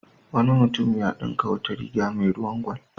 Wani mutunm ya dinka wata riga mai ruwan gwal.